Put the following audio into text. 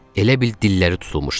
Elə bil dilləri tutulmuşdu.